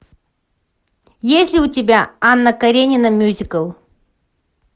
есть ли у тебя анна каренина мюзикл